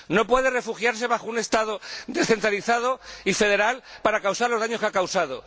No puede refugiarse bajo un Estado descentralizado y federal para causar los daños que ha causado.